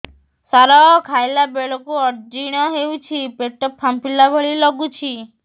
ସାର ଖାଇଲା ବେଳକୁ ଅଜିର୍ଣ ହେଉଛି ପେଟ ଫାମ୍ପିଲା ଭଳି ଲଗୁଛି